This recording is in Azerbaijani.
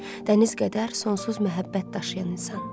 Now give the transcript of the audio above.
Dəniz qədər sonsuz məhəbbət daşıyan insan.